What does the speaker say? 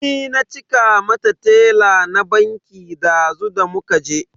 Ni na cika mata tela na banki dazu da muka je.